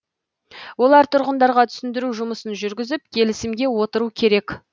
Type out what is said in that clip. олар тұрғындарға түсіндіру жұмысын жүргізіп келісімге отыру керек